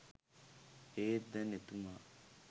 ඒත් දැන් එතුමා